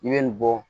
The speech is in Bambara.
I bɛ nin bɔ